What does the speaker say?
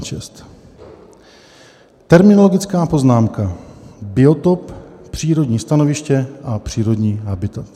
Terminologická poznámka - biotop, přírodní stanoviště a přírodní habitat.